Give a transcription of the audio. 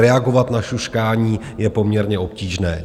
Reagovat na šuškání je poměrně obtížné.